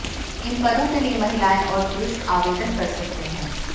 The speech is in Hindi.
इन पदों के लिए महिलाएं और पुरुष आवेदन कर सकते हैं